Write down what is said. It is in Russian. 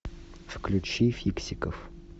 включи фиксиков